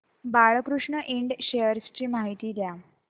Balkrishna Ind shares ची माहिती द्या